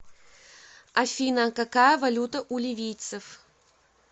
афина какая валюта у ливийцев